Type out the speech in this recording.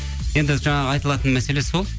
енді жаңағы айтылатын мәселе сол